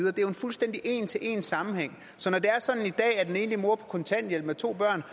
er jo en fuldstændig en til en sammenligning så når det er sådan at en enlig mor på kontanthjælp med to børn